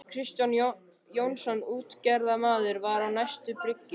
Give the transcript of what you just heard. Kristján Jónsson útgerðarmaður var á næstu bryggju.